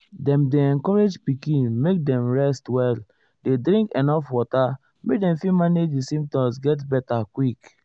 dem dey encourage pikin make dem rest well dey drink enuf water make dem fit manage di symptoms get beta quick.